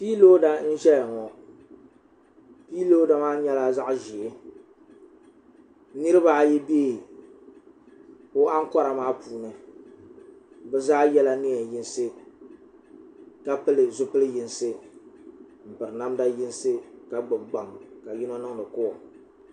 piilooda n ʒɛya ŋo piilooda maa nyɛla zaɣ ʒiɛ niraba ayi bɛ o ankora maa puuni bi zaa yɛla neen yinsi ka pili zipili yinsi n piri namda yinsi ka gbubi gbaŋ ka yino niŋdi kool